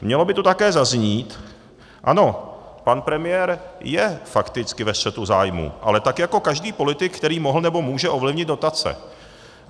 Mělo by tu také zaznít - ano, pan premiér je fakticky ve střetu zájmů, ale tak jako každý politik, který mohl nebo může ovlivnit dotace.